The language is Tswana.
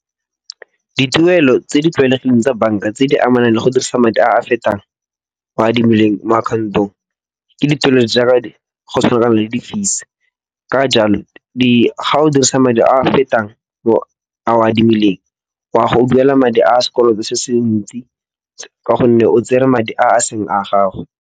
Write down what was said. Dituelo tse di tlwaelegileng tsa banka tse di amanang le go dirisa madi a a fetang a o a adimileng mo account-ong ke dituelo jaaka go tshwana le di fees. Ka jalo, ga o dirisa madi a fetang a o a adimileng wa go duela madi a sekoloto se se ntsi ka gonne o tsere madi a a seng a gago.